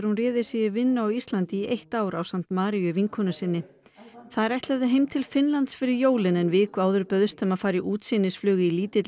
réði sig í vinnu á Íslandi í eitt ár ásamt Maríu vinkonu sinni þær ætluðu heim til Finnlands fyrir jólin en viku áður bauðst þeim að fara útsýnisflug í lítilli